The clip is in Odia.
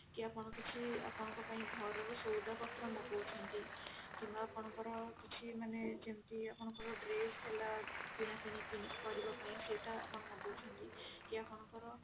କି ଆପଣ କିଛି ଆପଣଙ୍କ ପାଇଁ ଘର ର ସଉଦା ପତ୍ର ମଗଉଛନ୍ତି କିମ୍ବା ଆପଣନଙ୍କ ର କିଛି ମାନେ ଯେମତି ଆପଣଙ୍କ ର dress ହେଲା କିଣା କିଣି କରିବା ପାଇଁ ସେଟା ଆପଣ ମଗଉଛନ୍ତି କି ଆପଣଙ୍କ ର